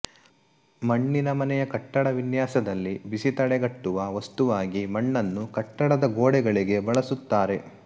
ಮಣ್ಣಿನ ಮನೆಯ ಕಟ್ಟಡ ವಿನ್ಯಾಸದಲ್ಲಿ ಬಿಸಿ ತಡೆಗಟ್ಟುವ ವಸ್ತುವಾಗಿ ಮಣ್ಣನ್ನು ಕಟ್ಟಡದಗೋಡೆಗಳಿಗೆ ಬಳಸುತ್ತಾರೆ